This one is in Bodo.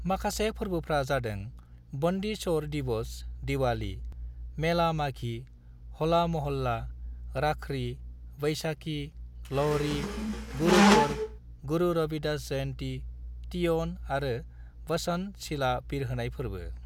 माखासे फोरबोफ्रा जादों बंदी छोड़ दिवस (दिवाली), मेला माघी, होला मोहल्ला, राखरी, वैशाखी, लोहड़ी, गुरपर्व, गुरु रविदास जयंती, तीयन आरो बसंत सिला बिरहोनाय फोरबो।